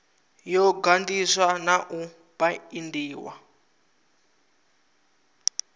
yo ganḓiswa na u baindiwa